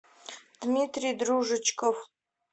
дмитрий дружечков